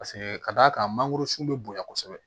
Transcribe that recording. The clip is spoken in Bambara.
Paseke ka d'a kan mangoro sun bɛ bonya kosɛbɛ